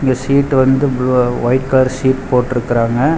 இந்த ஷீட் வந்து blue white colour sheet போட்ருக்காங்க.